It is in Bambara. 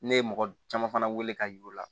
Ne ye mɔgɔ caman fana weele ka yir'u la